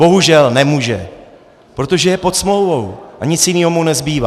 Bohužel nemůže, protože je pod smlouvou a nic jiného mu nezbývá.